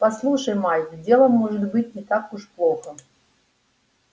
послушай майк дело может быть не так уж плохо